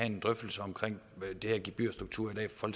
en drøftelse om de her gebyrstrukturer i dag fra